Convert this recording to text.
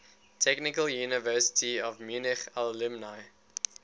technical university of munich alumni